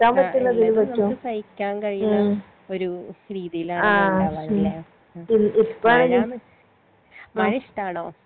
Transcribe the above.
ആ എല്ലതും നമ്മുക്ക് സഹിക്കാൻ കഴിണ ഒരു രീതിയിലാണ് ഇണ്ടാവാർ ലെ മഴ മഴ ഇഷ്ട്ടാണോ